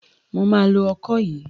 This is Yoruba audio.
Mo máa lo ọkọ yìí.